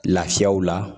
Lafiyaw la